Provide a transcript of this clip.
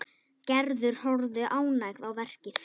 Gerður horfði ánægð á verkið.